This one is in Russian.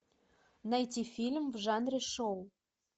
найти фильм в жанре шоу